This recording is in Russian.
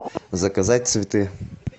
заказать цветы